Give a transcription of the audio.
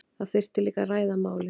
Það þyrfti líka að ræða málin